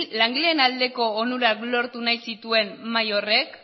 langileen aldeko onurak lortu nahi zituen mahai horrek